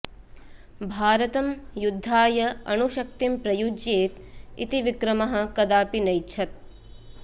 भारतं युद्धाय अणुशक्तिं प्रयुज्येत् इति विक्रमः कदापि नैच्छत्